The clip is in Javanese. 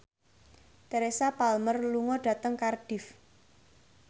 Teresa Palmer lunga dhateng Cardiff